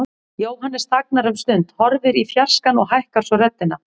Jóhannes þagnar um stund, horfir í fjarskann og hækkar svo röddina.